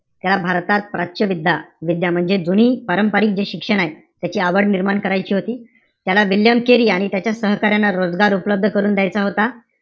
त्या भारतात प्राच्य विद्या~ विद्या म्हणजे जुनी पारंपरिक जे शिक्षण आहे त्याची आवड निर्माण करायची होती. त्याला विल्यम केरी आणि त्याच्या सहकार्यांना रोजगार उपलब्ध करून द्यायचा होता.